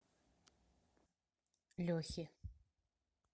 лехи